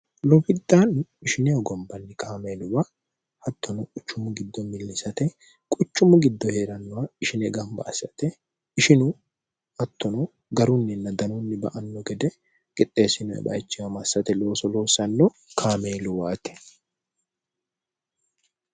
lobiddaan ishineogombanni kaameeluwa hattono qucummu giddo millisate quchummu giddo hee'rannowa ishine gamba assate ishinu hattono garunninna danonni ba anno gede qixxeessinoebayichiwa massate looso loossanno kaameeluwaate